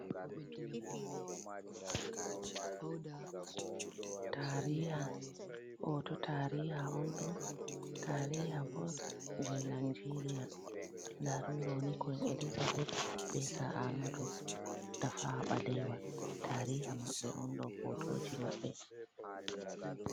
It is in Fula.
Tariha ,hooto tariha on ,ɗon tariha bo jey najeeriya ndaa ɗum ɗoni Kuwin Elizabet be Saa Ahmadu Tafawa Ɓalewa tariha maɓɓe on ,ɗo hotooji maɓɓe.